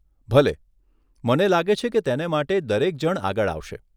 ભલે, મને લાગે છે કે તેને માટે દરેક જણ આગળ આવશે.